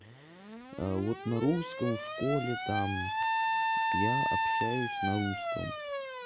вот на русском в школе там я общаюсь на русском